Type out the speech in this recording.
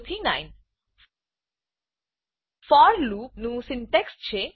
0 થી 9 for loop for લુપનું syntax છે